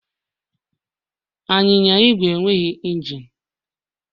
Anyịnya Igwe enweghị injin